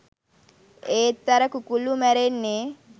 ඒත් අර කුකුල්ලු මැරෙන්නේ